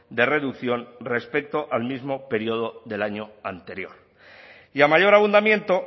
de reducción respecto al mismo periodo del año anterior y a mayor abundamiento